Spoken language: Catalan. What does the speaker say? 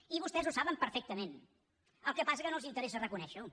i vostès ho saben perfectament el que passa és que no els interessa reconèixerho